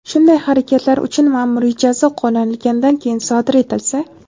shunday harakatlar uchun maʼmuriy jazo qo‘llanilganidan keyin sodir etilsa:.